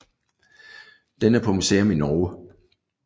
Den er på museum i Norge